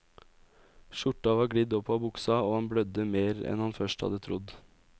Skjorta var glidd opp av buksa og han blødde mer enn han først hadde trodd.